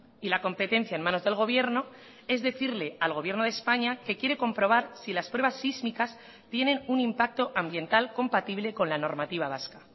y la competencia en manos del gobierno es decirle al gobierno de españa que quiere comprobar si las pruebas sísmicas tienen un impacto ambiental compatible con la normativa vasca